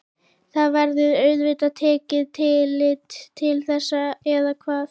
Það verður auðvitað tekið tillit til þess eða hvað?